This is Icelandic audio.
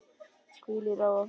Hvíl í ró og friði.